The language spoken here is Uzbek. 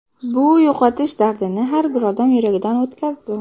Bu yo‘qotish dardini har bir odam yuragidan o‘tkazdi.